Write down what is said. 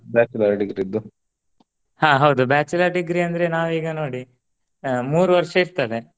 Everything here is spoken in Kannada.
Bachelor degree ದ್ದು ಹ ಹೌದು bachelor degree ಅಂದ್ರೆ ನಾವೀಗ ನೋಡಿ ಆ ಮೂರು ವರ್ಷ ಇರ್ತದೆ.